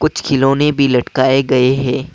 कुछ खिलौने भी लटकाए गए हैं ।